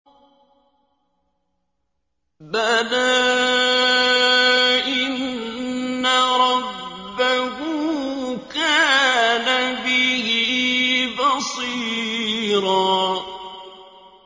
بَلَىٰ إِنَّ رَبَّهُ كَانَ بِهِ بَصِيرًا